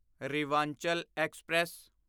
Rewanchal express